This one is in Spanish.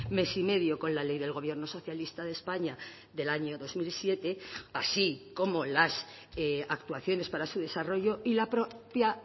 mes y medio con la ley del gobierno socialista de españa del año dos mil siete así como las actuaciones para su desarrollo y la propia